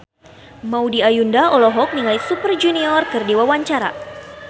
Maudy Ayunda olohok ningali Super Junior keur diwawancara